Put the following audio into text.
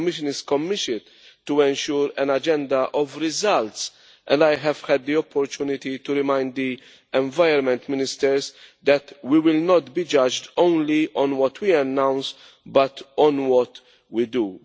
The Commission is committed to ensure an agenda of results, and I have had the opportunity to remind the Environment Ministers that we will not be judged only on what we announce but on what we do.